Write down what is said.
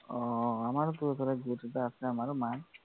অ অ আমাৰোটো একেবাৰে গোট এটা আছে আমাৰো মা